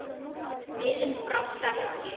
Minnið brást ekki.